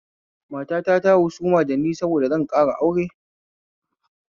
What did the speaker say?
Matata ta husuma dani saboda zan ƙara aure